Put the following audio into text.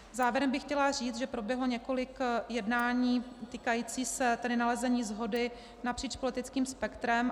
Závěrem bych chtěla říct, že proběhlo několik jednání týkajících se tedy nalezení shody napříč politickým spektrem.